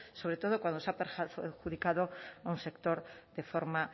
sobre todo cuando se ha perjudicado a un sector de forma